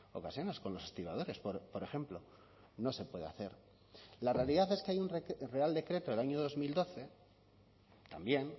ocasiones con los estibadores por ejemplo no se puede hacer la realidad es que hay un real decreto del año dos mil doce también